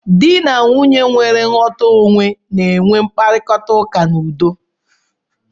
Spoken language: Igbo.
Di na Nwunye nwere nghọta onwe na-enwe mkparita ụka n'udo.